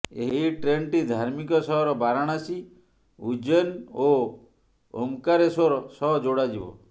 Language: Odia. ଏହି ଟ୍ରେନ୍ଟି ଧାର୍ମିକ ସହର ବାରଣାସୀ ଉଜ୍ଜୈନ୍ ଓ ଓମ୍କାରେଶ୍ବର ସହ ଯୋଡ଼ାଯିବ